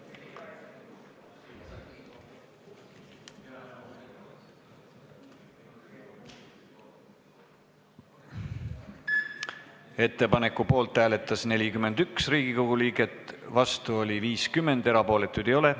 Hääletustulemused Ettepaneku poolt hääletas 41 Riigikogu liiget, vastu oli 50, erapooletuid ei ole.